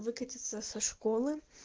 выкатиться со школы